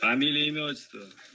фамилия имя отчество